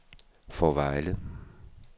Fårevejle